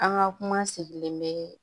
An ka kuma sigilen bɛ